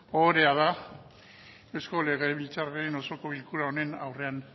ohorea da eusko legebiltzarraren osoko bilkura honen aurrean